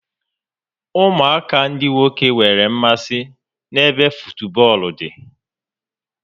Ụmụaka ndị nwoke nwere mmasị n'ebe futubọọlụ dị